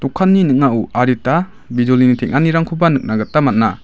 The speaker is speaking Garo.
dokanni ning·ao adita bijolini tenga·nirangkoba nikna gita man·a.